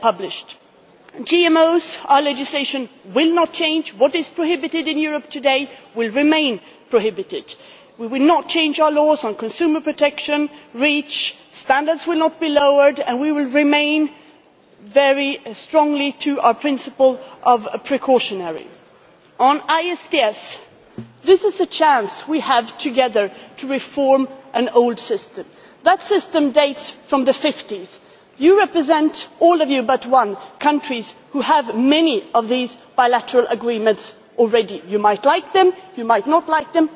published. Regarding GMOs, our legislation will not change. What is prohibited in Europe today will remain prohibited we will not change our laws on consumer protection REACH standards will not be lowered, and we will stick very strongly to our precautionary principle. On ISDS, this is a chance we have together to reform an old system. That system dates from the 1950s. You represent all of you but one countries who have many of these bilateral agreements already. You might like them, you might not like them,